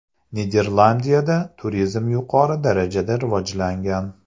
Niderlandiyada turizm yuqori darajada rivojlangan.